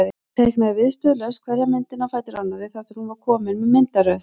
Hún teiknaði viðstöðulaust hverja myndina á fætur annarri þar til hún var komin með myndaröð.